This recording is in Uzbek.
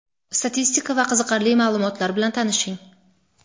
statistika va qiziqarli ma’lumotlar bilan tanishing;.